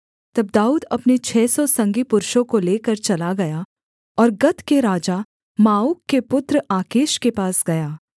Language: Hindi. तब दाऊद अपने छः सौ संगी पुरुषों को लेकर चला गया और गत के राजा माओक के पुत्र आकीश के पास गया